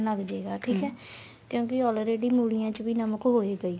ਲੱਗ ਜੇਗਾ ਠੀਕ ਏ ਕਿਉਂਕਿ already ਮੂਲੀਆਂ ਚ ਵੀ ਨਮਕ ਹੋਏਗਾ ਈ